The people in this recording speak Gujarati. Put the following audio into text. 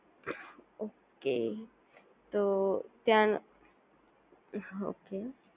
ઓકે તો ત્યાં ઓકે